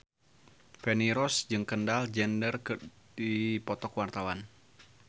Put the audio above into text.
Feni Rose jeung Kendall Jenner keur dipoto ku wartawan